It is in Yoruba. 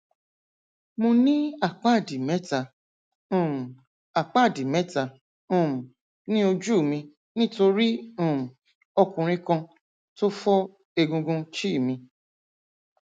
mo ní àpáàdì mẹta um àpáàdì mẹta um ní ojú mi nítorí um ọkùnrin kan tó fọ egungun chhe mi